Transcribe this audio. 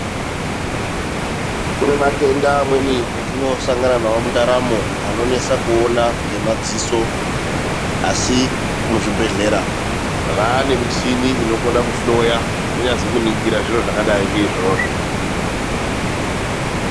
Kune matenda amweni atosangana nawo mundaramo anoesa kuona nemaziso ,asi muzvibhedhlera vaane michini inokwaisa kuhloya kunyazi kuningira zviro zvakadai ngeizvovo.